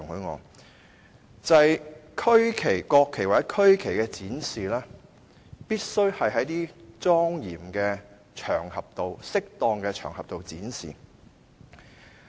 國旗或區旗必須在莊嚴及適當的場合中展示。